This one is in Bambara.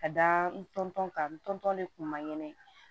Ka da n tɔntɔn kan ntɔn de kun ma ɲɛnɛ